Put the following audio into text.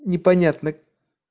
непонятно